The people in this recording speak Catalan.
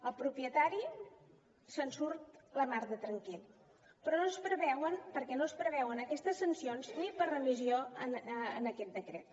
el propietari se’n surt la mar de tranquil perquè no es preveuen aquestes sancions ni per remissió en aquest decret